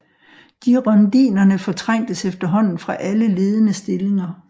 Girondinerne fortrængtes efterhånden fra alle ledende stillinger